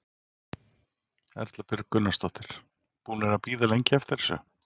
Erla Björg Gunnarsdóttir: Búnir að bíða lengi eftir þessu?